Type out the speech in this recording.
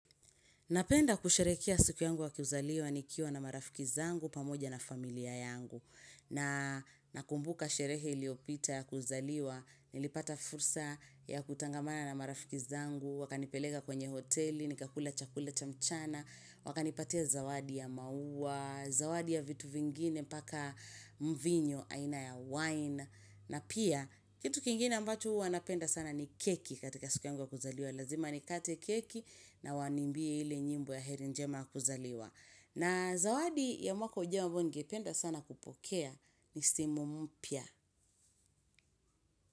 Napenda kusherehekea siku yangu wa kuzaliwa nikiwa na marafiki zangu pamoja na familia yangu. Na nakumbuka sherehe iliopita ya kuzaliwa, nilipata fursa ya kutangamana na marafiki zangu, wakanipeleka kwenye hoteli, nikakula chakula chamchana, wakanipatia zawadi ya maua, zawadi ya vitu vingine mpaka mvinyo aina ya wine. Na pia, kitu kingine ambacho huwa napenda sana ni keki katika siku yangu wa kuzaliwa. Lazima ni kate keki na waniimbiye ile nyimbo ya heri njema kuzaliwa. Na zawadi ya mwako ujao ambayo ningependa sana kupokea ni simu mpya.